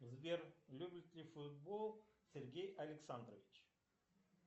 сбер любит ли футбол сергей александрович